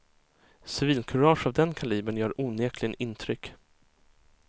Civilkurage av den kalibern gör onekligen intryck.